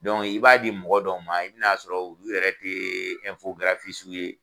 i b'a di mɔgɔ dɔw ma i bɛ na sɔrɔ olu yɛrɛ tɛ ye.